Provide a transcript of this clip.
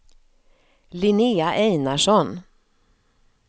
Linnea Einarsson